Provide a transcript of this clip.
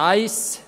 Punkt 1